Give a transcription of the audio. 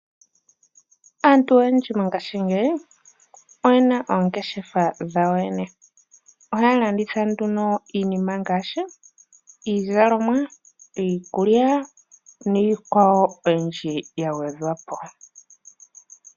Aantu oyendji mongashingeyi oyena oongeshefa dha wo yoyene, oha ya landitha nduno iinima ngaashi iizalomwa iikulya niikwawo oyindji yagwedhwapo.